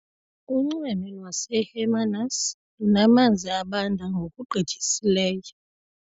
Unxweme lwaseHermanus lunamanzi abanda ngokugqithisileyo.